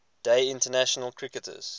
day international cricketers